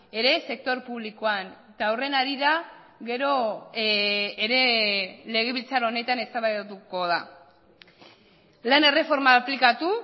ere sektore publikoan eta horren harira gero ere legebiltzar honetan eztabaidatuko da lan erreforma aplikatu